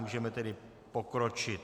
Můžeme tedy pokročit.